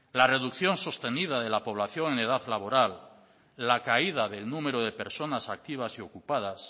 la reducción sostenida de la población en edad laboral la caída del número de personas activas y ocupadas